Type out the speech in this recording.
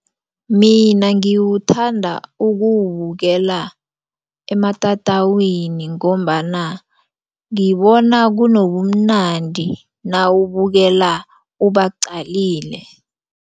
Mina ngiwuthanda ukuwubukela ematatawini ngombana ngibona kunobumnandi nawubukela ubaqalile.